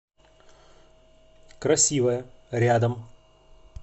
красивая рядом